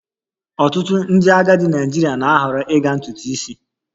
Ọtụtụ ndị agadi Naịjirịa na-ahọrọ ịga ntutu isi